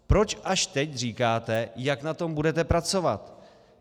Proč až teď říkáte, jak na tom budete pracovat?